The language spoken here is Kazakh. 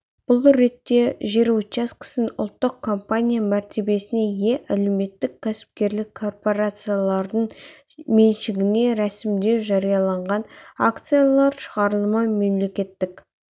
бұл ретте жер учаскесін ұлттық компания мәртебесіне ие әлеуметтік-кәсіпкерлік корпорациялардың меншігіне ресімдеу жарияланған акциялар шығарылымы мемлекеттік